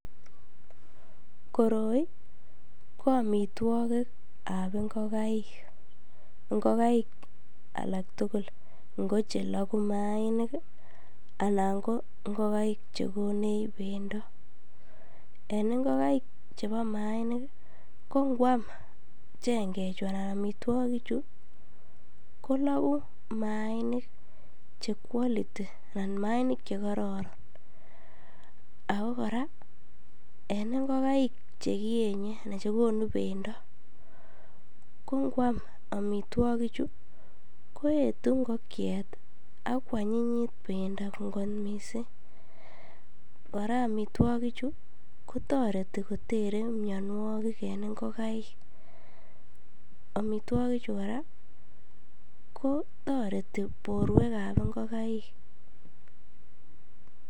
Koroi ko amitwokikab ing'okaik, ing'okaik alak tukul ng'o cheloku mainik anan ko ing'okaik chekonech bendo, en ing'okaik chebo mainik ko ngwam cheng'echu anan amitwokichu koloku mainik che quality anan mainik chekororon ak ko kora en ing'okaik chekonu bendo ko ngwam amitwokichu koetu ing'okiet ak kwanyinyit bendo kot mising, kora amitwokichu ko toreti kotere mionwokik en ing'okaik, amitwokichu kora kotoreti borwekab ing'okaik.